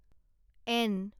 N